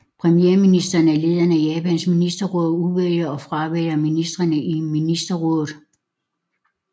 Premierministeren er lederen af Japans ministerråd og udvælger og fravælger ministrene i ministerrådet